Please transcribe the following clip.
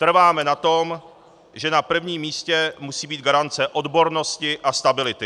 Trváme na tom, že na prvním místě musí být garance odbornosti a stability.